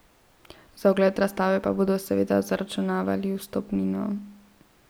Za ogled razstave pa bodo seveda zaračunavali vstopnino.